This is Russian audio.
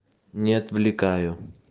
не отвлекаю